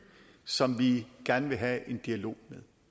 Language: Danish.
som vi gerne vil have en dialog